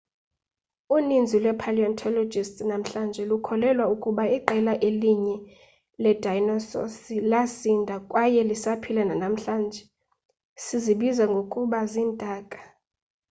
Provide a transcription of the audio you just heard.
uninzi lwee-paleontologists namhlanje lukholelwa ukuba iqela elinye leedayinososi lasinda kwaye lisaphila nanamhlanje sizibiza ngokuba ziintaka